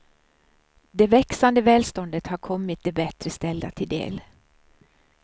Det växande välståndet har kommit de bättre ställda till del.